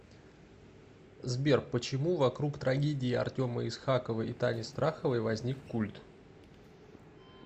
сбер почему вокруг трагедии артема исхакова и тани страховой возник культ